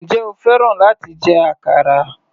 Njẹ́ o fẹ́ láti jẹ àkàrà?